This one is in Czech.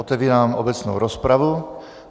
Otevírám obecnou rozpravu.